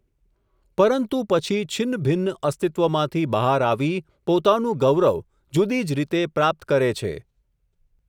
પરંતુ પછી છિન્નભિન્ન અસ્તિત્વમાંથી બહાર આવી, પોતાનું ગૌરવ જુદી જ રીતે પ્રાપ્ત કરે છે.